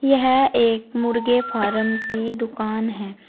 यह एक मुर्गे फारम की दुकान है।